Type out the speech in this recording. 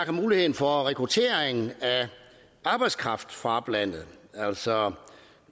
muligheden for rekrutteringen af arbejdskraft fra oplandet altså